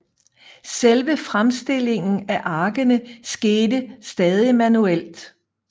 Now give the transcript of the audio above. Selve fremstillingen af arkene skete stadig manuelt